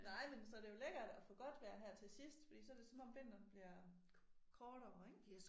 Nej men så det jo lækkert at få godt vejr her til sidst fordi så det som om vinteren bliver kortere ik